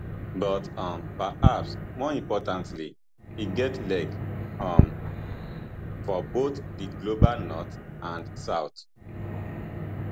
but um perhaps more importantly e get leg um for both di global north and south